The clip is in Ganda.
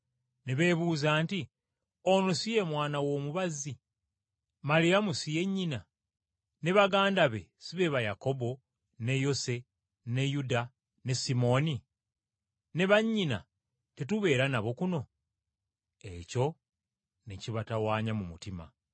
Ne beebuuza nti, “Ono si ye mwana w’omubazzi? Maliyamu si ye nnyina, ne baganda be si be ba Yakobo, ne Yose, ne Yuda ne Simooni? Ne bannyina tetubeera nabo kuno?” Ekyo ne kibatawanya mu mutima.